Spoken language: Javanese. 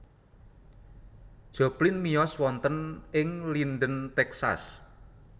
Joplin miyos wonten ing Linden Texas